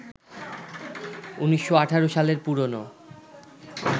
১৯১৮ সালের পুরোনো